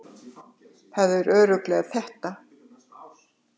Það er örugglega þetta.